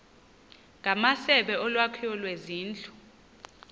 ngamasebe olwakhiwo lwezindlu